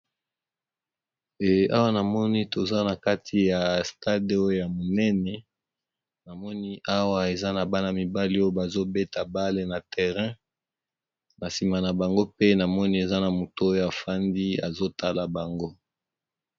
Eh awa namoni toza na kati ya stade oyo ya monene, namoni awa eza na bana mibali oyo bazo beta bale na terrain na nsima na bango pe namoni eza na moto oyo afandi azo tala bango.